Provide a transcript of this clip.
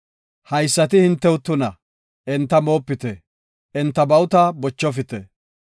Haysati hintew tuna; enta moopite; enta bawuta bochofite.